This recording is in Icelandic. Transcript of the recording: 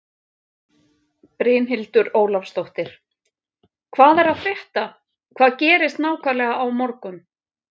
Brynhildur Ólafsdóttir: Hvað er að frétta, hvað gerist nákvæmlega á morgun?